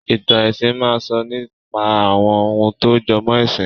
Ìtàn ẹ̀sìn máa sọ nípa àwọn ohun tó jọmọ́ ẹ̀sìn